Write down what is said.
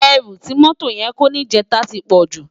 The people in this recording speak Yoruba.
Èrú ti mótó yèn kó nijètá ti pòjú